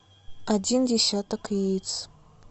один десяток яиц